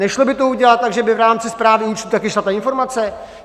Nešlo by to udělat tak, že by v rámci správy účtu taky šla ta informace?